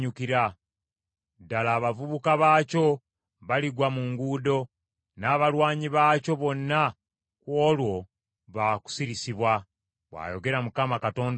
Ddala abavubuka baakyo baligwa mu nguudo, n’abalwanyi baakyo bonna ku olwo baakusirisibwa,” bw’ayogera Mukama Katonda ow’Eggye.